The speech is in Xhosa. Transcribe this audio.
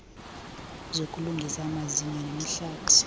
zokulungisa amazinyo nemihlathi